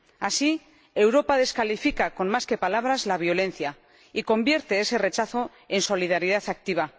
Así, Europa descalifica con más que palabras la violencia y convierte ese rechazo en solidaridad activa.